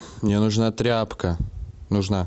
мне нужна тряпка нужна